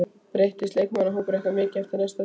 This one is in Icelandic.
Breytist leikmannahópur ykkar mikið fyrir næsta sumar?